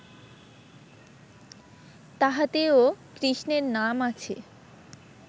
তাহাতেও কৃষ্ণের নাম আছে